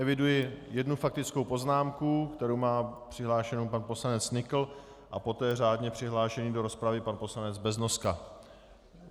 Eviduji jednu faktickou poznámku, kterou má přihlášenou pan poslanec Nykl, a poté řádně přihlášený do rozpravy pan poslanec Beznoska.